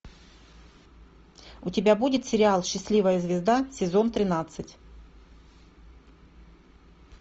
у тебя будет сериал счастливая звезда сезон тринадцать